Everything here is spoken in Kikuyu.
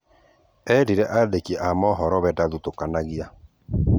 Erĩre andĩki a mohoro aty we ndathũtokanagĩa